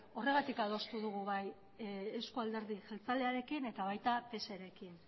horregatik adostu dugu eusko alderdi jeltzalearekin eta pserekin